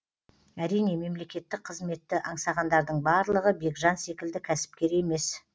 әрине мемлекеттік қызметті аңсағандардың барлығы бекжан секілді кәсіпкер емес